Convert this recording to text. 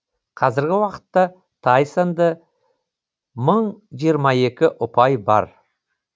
қазіргі уақытта тайсонды мың жиырма екі ұпай бар